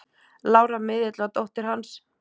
Lára miðill var dóttir hans.